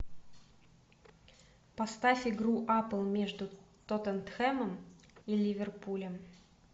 поставь игру апл между тоттенхэмом и ливерпулем